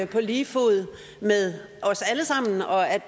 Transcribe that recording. på lige fod med os alle sammen og at